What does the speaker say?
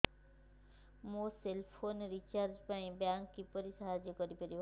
ମୋ cell phone recharge ରେ bank କିପରି ସାହାଯ୍ୟ କରିପାରିବ